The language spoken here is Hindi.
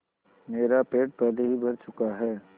मेरा पेट पहले ही भर चुका है